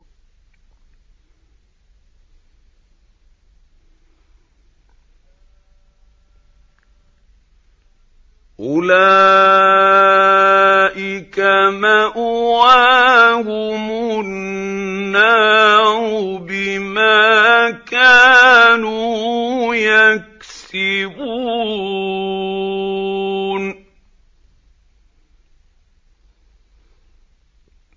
أُولَٰئِكَ مَأْوَاهُمُ النَّارُ بِمَا كَانُوا يَكْسِبُونَ